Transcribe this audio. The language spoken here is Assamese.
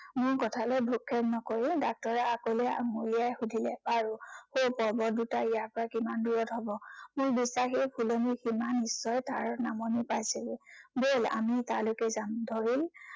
মোৰ কথালৈ ভ্ৰক্ষেপ নকৰি doctor আগলে আঙুলিয়াই সুধিলে, বাৰু সেই পৰ্বত দুটা ইয়াৰ পৰা কিমান দূৰত হব? মোৰ দুটা সেই ফুলনিৰ কিমান ওচৰত তাৰ নামনি পাইছেগৈ। বল আমি তালৈকে যাও। ধৰি ল